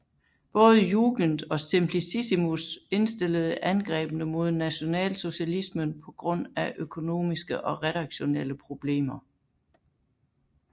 Både Jugend og Simplicissimus indstillede angrebene mod nationalsocialismen på grund af økonomiske og redaktionelle problemer